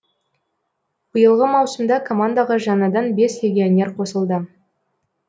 биылғы маусымда командаға жаңадан бес легионер қосылды